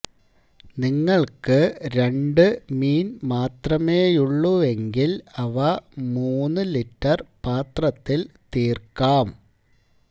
നിങ്ങൾക്ക് രണ്ട് മീൻ മാത്രമേയുള്ളുവെങ്കിൽ അവ മൂന്നു ലിറ്റർ പാത്രത്തിൽ തീർക്കാം